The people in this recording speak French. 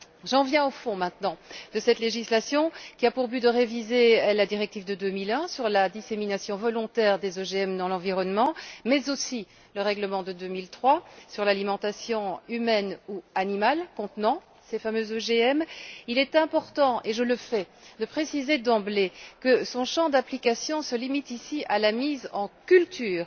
J'en viens maintenant au fond de cette législation, qui a pour but de réviser la directive de 2001 sur la dissémination volontaire des OGM dans l'environnement mais aussi le règlement de 2003 sur l'alimentation humaine ou animale contenant ces fameux OGM. Il est important, et je le fais, de préciser d'emblée que son champ d'application se limite ici à la mise en culture.